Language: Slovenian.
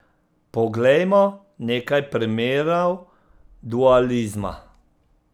Poglejmo nekaj primerov dualizma.